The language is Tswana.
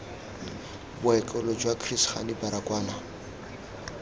bookelo jwa chris hani baragwanath